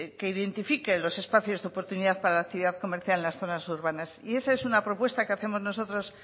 que identifique los espacios de oportunidad para la actividad comercial en las zonas urbanas y esa es una propuesta que hacemos nosotros